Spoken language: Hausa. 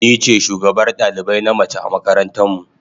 Ni ce shugabar dalibai na mace a makaranta mu.